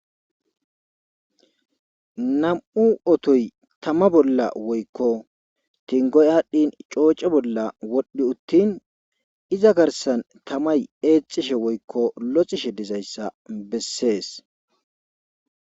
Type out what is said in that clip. Nam7u otoy woykko tama bolla kinggoy aadhincooce bolla wodhdhi uttin iza garssan tamay eexxishe woykko loxishe dizayssa bessees.